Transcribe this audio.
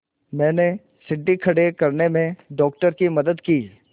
मैंने सीढ़ी खड़े करने में डॉक्टर की मदद की